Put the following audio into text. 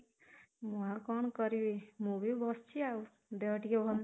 ମୁଁ ଆଉ କଣ କରିବି, ମୁଁ ବି ବସିଛି ଆଉ ଦେହ ଟିକେ ଭଲ